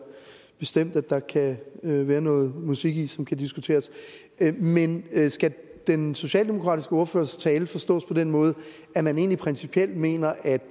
bestemt der kan være noget musik i som kan diskuteres men skal den socialdemokratiske ordførers tale forstås på den måde at man egentlig principielt mener at